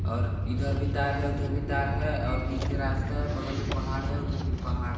और इधर भी तार है उधर भी तार है और बीच में रास्ता है बगल में पहाड़ है उधर भी पहाड़--